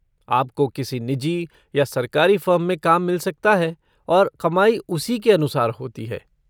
आपको किसी निजी या सरकारी फ़र्म में काम मिल सकता है और कमाई उसी के अनुसार होती है।